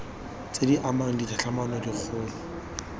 tse di amang ditlhatlhamano dikgolo